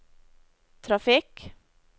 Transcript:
trafikk